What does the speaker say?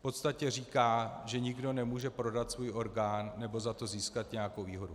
V podstatě říká, že nikdo nemůže prodat svůj orgán nebo za to získat nějakou výhodu.